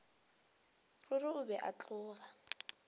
ruri o be a tloga